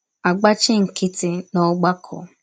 agbachi nkịtị n’ọgbakọ. ”